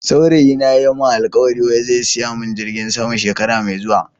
Saurayi na ya Yi min alkawali wai zai siya min jirgin sama shekara Mai zuwan.